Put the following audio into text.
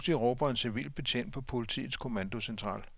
Pludselig råber en civil betjent på politiets kommandocentral.